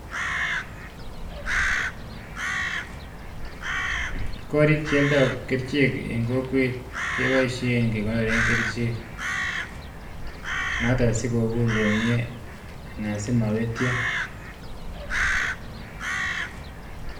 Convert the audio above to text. Korik chealdoi kerichek eng kokwet konyalu kekonore kerichek asimapetyo